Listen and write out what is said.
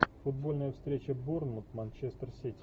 футбольная встреча борнмут манчестер сити